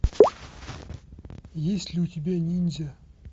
есть ли у тебя ниндзя